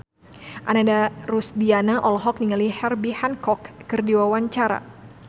Ananda Rusdiana olohok ningali Herbie Hancock keur diwawancara